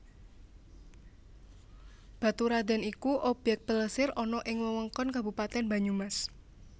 Baturradèn iku obyèk plesir ana ing Wewengkon Kabupatén Banyumas